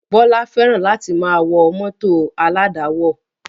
Bọlá fẹ́ràn láti máa wọ mọ́tò aládàáwọ̀